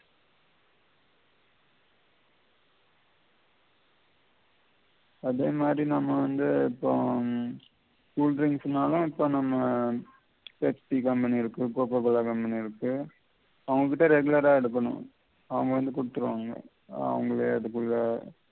அதே மாதி நம்ம வந்து இப்போ உம் cool drinks நாலும் இப்ப நம்ம Pepsi company களுக்கு கோகோ cola company களுக்கு அவங்ககிட்டயே regular எடுக்கணும் அவங்க வந்து குடுத்திடுவாங்க அவங்களே அதுக்குள்ள